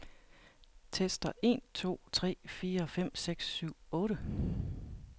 Tester en to tre fire fem seks syv otte.